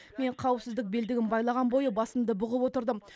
мен қауіпсіздік белдігін байлаған бойы басымды бұғып отырдым